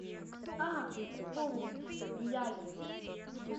а вспомнил мияги